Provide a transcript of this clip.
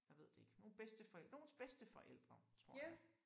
Jeg ved det ikke nogle bedsteforældre nogens bedsteforældre tror jeg